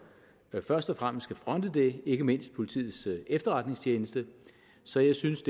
først og fremmest skal fronte det ikke mindst politiets efterretningstjeneste så jeg synes